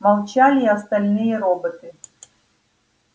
молчали и остальные роботы